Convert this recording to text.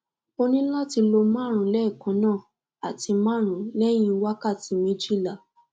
o ni lati lo marun lekanna ati marun lehin wakati mejila